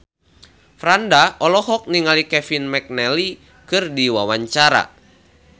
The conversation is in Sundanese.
Franda olohok ningali Kevin McNally keur diwawancara